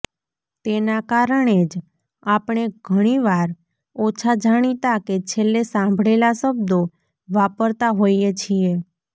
તેના કારણે જ આપણે ઘણીવાર ઓછા જાણીતા કે છેલ્લે સાંભળેલા શબ્દો વાપરતા હોઈએ છીએ